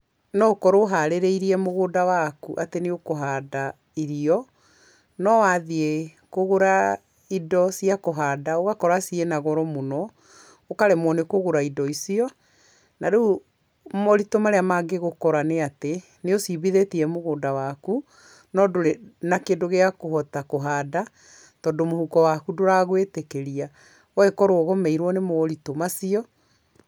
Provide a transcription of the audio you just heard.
No ũkorwo ũharĩrĩirie mũgũnda waku atĩ nĩ ũkũhanda irio, no wathiĩ kũgũra indo cia kũhanda ũgakora cĩĩnagoro mũno, ũkaremwo nĩ kũgũra indo icio, na rĩu moritũ marĩa mangĩgũkora nĩ atĩ, n ĩũcimbithĩtie mũgũnda waku no ndũrĩ na kĩndũ gĩakũhota kũhanda tondũ mũhuko waku ndũragũĩtĩkĩria, ũgagĩkorwo ũgũmĩirwo nĩ moritũ macio.